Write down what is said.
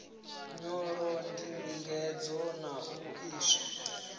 nyolo ndingedzo na u iswa